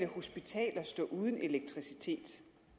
hospitaler stå uden elektricitet